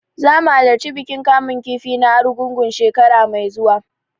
Zamu halarci bikin kamun kifi na Argungu, shekara mai zuwa.